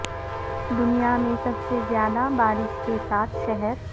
دنیا میں سب سے زیادہ بارش کے ساتھ شہر